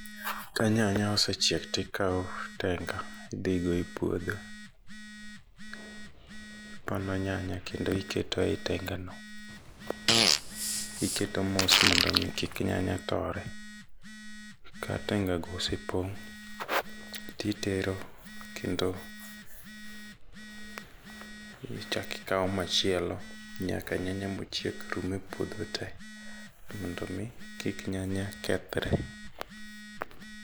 Ka nyanya osechiek tikawo tenga idhigo e puodho . Ipono nyanya kendo iketoe tenga no iketo mos mondo mi kik nyanya tore. Ka tenga go osepong' titero kendo ichak ikawo machielo nyaka nyanya mochiek rum e ouodho te mondo mi kik nyanya kethre.